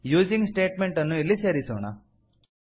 using statement ಅನ್ನು ಇಲ್ಲಿ ಸೇರಿಸೋಣ